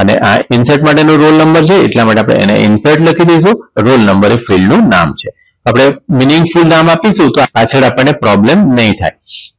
અને આ insert માટેનો roll number છે એટલા માટે એને insert લખી દઈશું roll number એ fild નામ છે આપણે meaning full નામ આપીશું તો પાછળ આપણને problem નહીં થાય